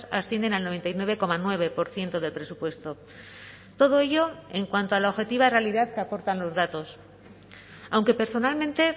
ascienden al noventa y nueve coma nueve por ciento del presupuesto todo ello en cuanto a la objetiva realidad que aportan los datos aunque personalmente